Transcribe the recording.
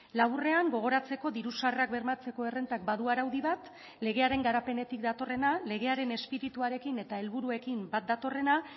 laburrean gogoratzeko diru sarrerak bermatzeko errentak badu araudi bat legearen garapenetik datorrena legearen espirituarekin eta helburuekin bat datorrena